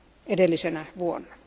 edellisenä vuotena.